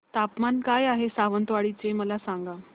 तापमान काय आहे सावंतवाडी चे मला सांगा